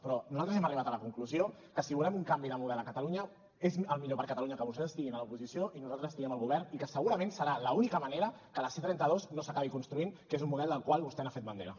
però nosaltres hem arribat a la conclusió que si volem un canvi de model a catalunya és el millor per a catalunya que vostès estiguin a l’oposició i nosaltres estiguem al govern i que segurament serà l’única manera que la c trenta dos no s’acabi construint que és un model del qual vostè ha fet bandera